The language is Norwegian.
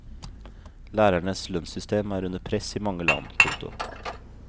Lærernes lønnssystem er under press i mange land. punktum